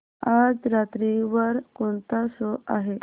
आज रात्री वर कोणता शो आहे